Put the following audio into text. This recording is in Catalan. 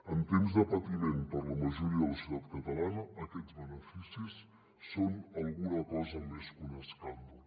en temps de patiment per a la majoria de la societat catalana aquests beneficis són alguna cosa més que un escàndol